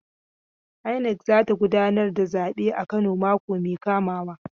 INEC za ta gudanar da zabe a Kano mako mai kamawa.